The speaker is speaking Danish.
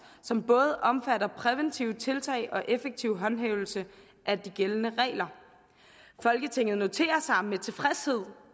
som både omfatter præventive tiltag og effektiv håndhævelse af de gældende regler folketinget noterer sig med tilfredshed